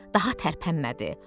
Daha tərpənmədi.